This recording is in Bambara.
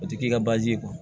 O ti k'i ka bazi